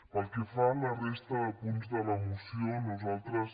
pel que fa a la resta de punts de la moció nosaltres